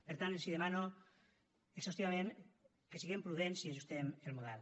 per tant els demano exhaustivament que siguem prudents i ajustem el model